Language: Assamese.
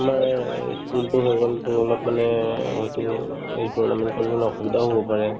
আমাৰ এই school টো হৈ গ'ল to অলপ মানে হয়তো এই tournament কৰিব মানে অসুবিধাও হ'ব পাৰে